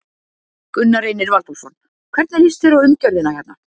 Gunnar Reynir Valþórsson: Hvernig líst þér á umgjörðina hérna?